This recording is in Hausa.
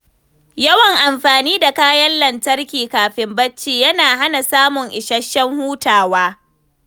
Yawan amfani da kayan lantarki kafin bacci yana hana samun isasshen hutawa.